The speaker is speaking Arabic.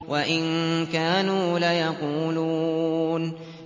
وَإِن كَانُوا لَيَقُولُونَ